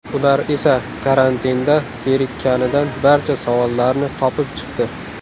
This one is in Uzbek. Ular esa karantinda zerikkanidan barcha savollarni topib chiqdi.